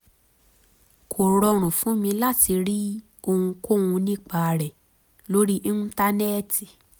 kò rọrùn fún mi láti rí ohunkóhun nípa rẹ̀ lórí íńtánẹ́ẹ̀tì